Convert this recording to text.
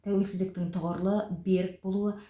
тәуелсіздіктің тұғырлы берік болуы